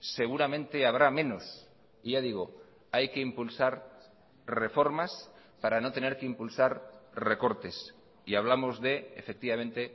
seguramente habrá menos y ya digo hay que impulsar reformas para no tener que impulsar recortes y hablamos de efectivamente